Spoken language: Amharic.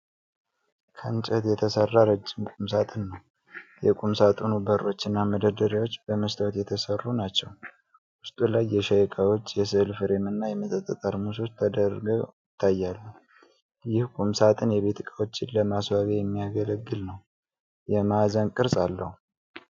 ከእንጨት የተሠራ ረጅም ቁምሳጥን ነው። የቁምሳጥኑ በሮችና መደርደሪያዎች በመስታወት የተሠሩ ናቸው። ውስጡ ላይ የሻይ ዕቃዎች፣ የሥዕል ፍሬም እና የመጠጥ ጠርሙሶች ተደርገው ይታያሉ። ይህ ቁምሳጥን የቤት እቃዎችን ለማስዋቢያ የሚያገለግል ነው። የማዕዘን ቅርጽ አለው።